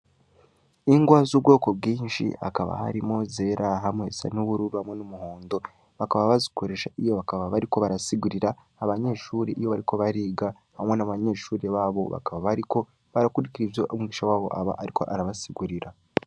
Ingwa z'ubwoko bwinshi akaba harimo zera hamwesan'ubururbamwo n'umuhondo bakaba bazikoresha iyo bakaba bariko barasigurira abanyeshuri iyo bariko bariga hamwe na banyeshuri babo bakaba bariko barakurikira ivyo umwisha wabo aba, ariko arabasigurira.